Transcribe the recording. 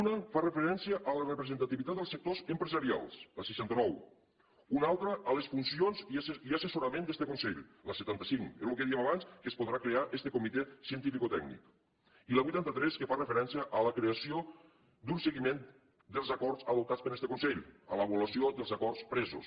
una fa referència a la representativitat dels sectors empresarials la seixanta nou una altra a les funcions i assessorament d’este consell la setanta cinc és el que dèiem abans que es podrà crear este comitè cientificotècnic i la vuitanta tres que fa referència a la creació d’un seguiment dels acords adoptats per este consell a l’avaluació dels acords presos